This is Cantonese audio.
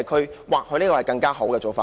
這或許是更好的做法。